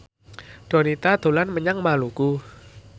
Donita dolan menyang Maluku